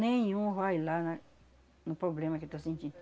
Nenhum vai lá na no problema que eu estou sentindo.